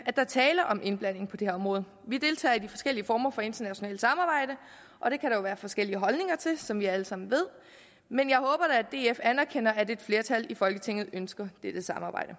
er tale om indblanding på det område vi deltager i de forskellige former for internationalt samarbejde og det kan der være forskellige holdninger til som vi alle sammen ved men jeg håber da at df anerkender at et flertal i folketinget ønsker dette samarbejde